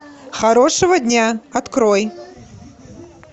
хорошего дня открой